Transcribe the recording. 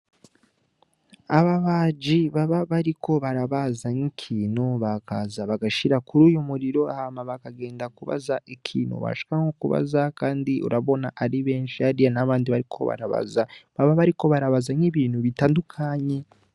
Aba baji baba bariko barabazanka ikintu bakaza bagashira kuri uyu muriro ahama bakagenda kubaza ikintu bashikanko kubaza, kandi urabona ari benshi ariya n'abandi bariko barabaza baba bariko barabazany' ibintu bitandukanye.